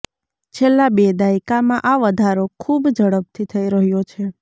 છેલ્લા બે દાયકામાં આ વધારો ખૂબ ઝડપથી થઈ રહ્યો છે